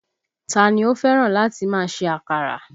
Ta ni ó fẹ́ràn láti máa ṣe àkàrà?